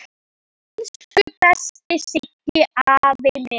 Elsku besti Siggi afi minn.